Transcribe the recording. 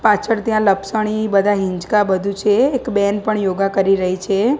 પાછળ ત્યાં લપસણી બધા હિંચકા બધું છે એક બેન પણ યોગા કરી રહી છે.